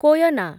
Koyna